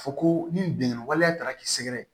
Fɔ ko ni bingani waleya tara k'i sɛgɛrɛ